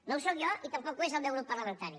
no ho sóc jo i tampoc ho és el meu grup parlamentari